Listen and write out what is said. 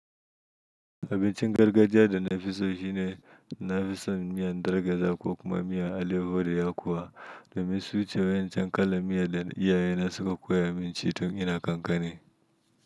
Abincin gargajiya da na fi so shi ne na fi son miyan darge da kuwa kuma miya ale wuriya kuwa. Da mai suce wayancan kalan miya da iyaye na suka koya min ci tun ina kankane.